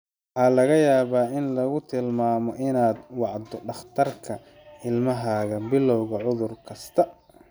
Waxaa laga yaabaa in lagu tilmaamo inaad wacdo dhakhtarka ilmahaaga bilowga cudur kasta.